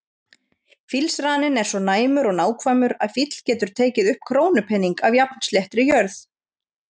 Fílsraninn er svo næmur og nákvæmur að fíll getur tekið upp krónupening af jafnsléttri jörð.